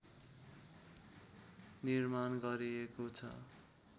निर्माण गरिएको छ